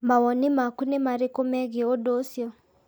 Mawoni maku nĩ marĩkũ megiĩ ũndũ ũcio?